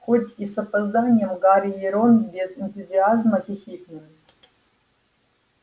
хоть и с опозданием гарри и рон без энтузиазма хихикнули